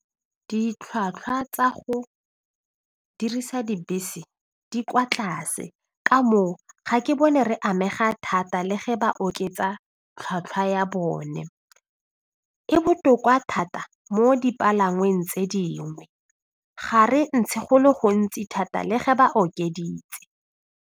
Ditlhwatlhwa tsa go dirisa dibese di kwa tlase ka moo ga ke bone re amega thata le ge ba oketsa tlhatlhwa ya bone, e botoka thata mo dipalangweng tse dingwe ga re ntshe go le gontsi thata le ge ba okeditse.